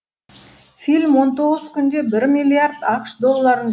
фильм он тоғыз күнде бір миллиард ақш долларын